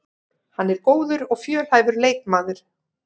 Hann er góður og fjölhæfur leikmaður